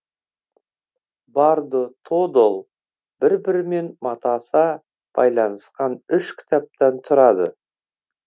бардо тодол бір бірімен матаса байланысқан үш кітаптан тұрады